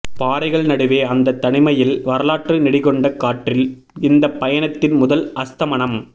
பாறைகள் நடுவே அந்தத் தனிமையில் வரலாற்று நெடிகொண்ட காற்றில் இந்தப் பயணத்தின் முதல் அஸ்தமனம்